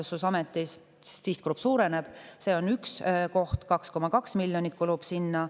See on üks koht,, 2,2 miljonit kulub sinna.